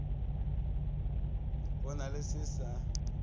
go na le se sa